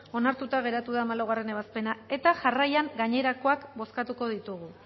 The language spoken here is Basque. onartuta geratu da hamalaugarrena ebazpena eta jarraian gainerakoak bozkatuko ditugu